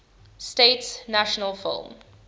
states national film